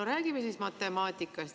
No räägime siis matemaatikast.